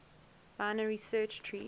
binary search trees